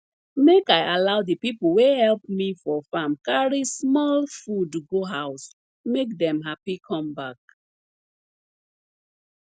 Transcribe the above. make i allow de pipo wey help me for farm carry small food go house make dem happy come back